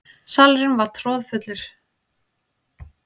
Salurinn var troðfullur.